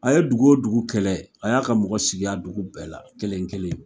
A ye dugu o dugu kɛlɛ a y'a ka mɔgɔ sigi a dugu bɛɛ la kelen-kelen.